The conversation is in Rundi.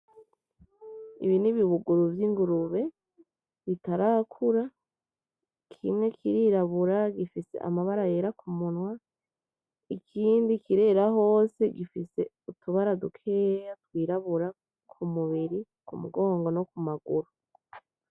Ibi ni ibibuguru vy'ingurube bitarakura. kimwe kirirabura gifise amabara yera ku munwa ikindi kirera hose gifise utubara dukeya twirabura ku mubiri, ku mugongo no ku maguru.